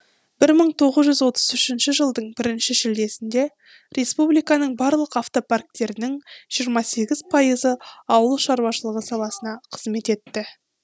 бір мың тоғыз жүз отыз үшінші жылдың бірінші шілдесінде республиканың барлық автопарктерінің жиырма сегіз пайызы ауыл шаруашылығы саласына қызмет етті